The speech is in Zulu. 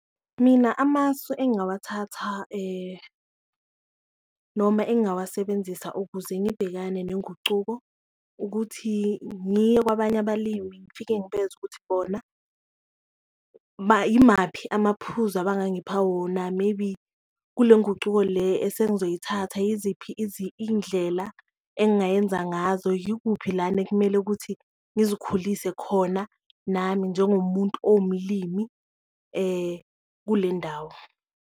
Mina amasu engawathatha noma engawasebenzisa ukuze ngibhekane nengucuko ukuthi, ngiye kwabanye abalimi ngifike ngibezwe ukuthi bona imaphi amaphuzu abangangipha wona maybe kule ngucuko le esengizoyithatha yiziphi indlela engayenza ngazo. Yikuphi lana ekumele ukuthi ngizikhulise khona nami njengomuntu owumlimi kule ndawo.